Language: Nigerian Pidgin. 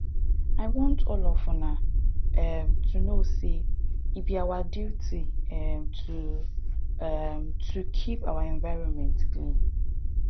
i want all of una um to know say e be our duty um to um to keep our environment clean